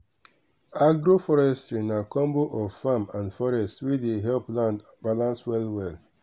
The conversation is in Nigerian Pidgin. agroforestry na combo of farm and forest wey dey help land balance well well.